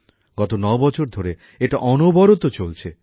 গত ৯ বছর ধরে এটা অনবরত চলছে